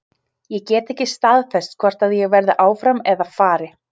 Ég get ekki staðfest hvort að ég verði áfram eða fari.